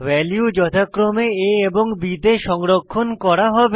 value যথাক্রমে a এবং b তে সংরক্ষণ করা হবে